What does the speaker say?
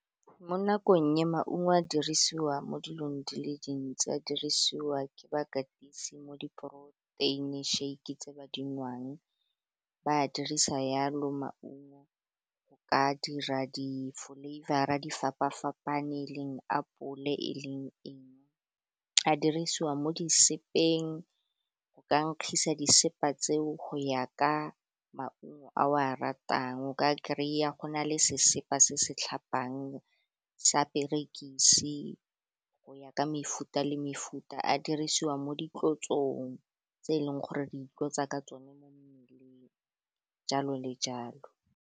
Mo nakong e maungo a dirisiwa mo dilong di le dintsi a dirisiwa ke bakatisi mo di-poroteini shake tse ba di nwang, ba a dirisa Jalo maungo ba dira di-flavour-ra, di fapa-fapaneng e leng apole, e leng, a dirisiwa mo di sepeng go ka nkgaisa di sepa tseo, go ya ka maungo a o a ratang o ka kry-a go na le sesepa se se tlhapang, sa perekise go ya ka mefuta le mefuta, a dirisiwa mo ditlotsong tse e leng, gore di itlotsa ka tsone mo mmeleng jalo le jalo.